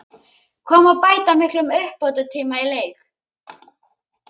Hvað má bæta miklum uppbótartíma í leik?